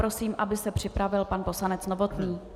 Prosím, aby se připravil pan poslanec Novotný.